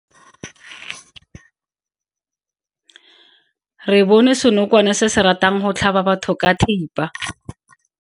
Re bone senokwane se se ratang go tlhaba batho ka thipa.